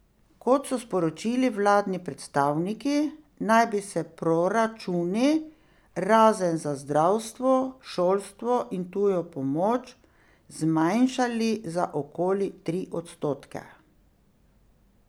Kot so sporočili vladni predstavniki, naj bi se proračuni, razen za zdravstvo, šolstvo in tujo pomoč, zmanjšali za okoli tri odstotke.